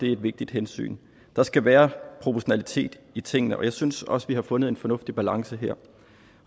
er et vigtigt hensyn der skal være proportionalitet i tingene og jeg synes også at vi har fundet en fornuftig balance her